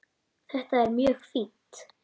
Þetta er mjög fínt.